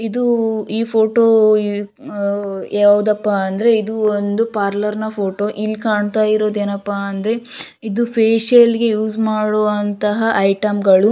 ಇದೂ ಈ ಫೋಟೋ ಉಹ್ ಯಾವ್ದಪ್ಪ ಅಂದ್ರೆ ಇದು ಒಂದು ಪಾರ್ಲರ್ ನ ಫೋಟೋ ಇಲ್ಲಿ ಕಾಣ್ತಾ ಇರೋದ್ ಏನಪಾ ಅಂದ್ರೆ ಇದು ಫೇಷಿಯಲ್ ಗೆ ಯೂಸ್ ಮಾಡುವಂತಹ ಐಟಂ ಗಳು --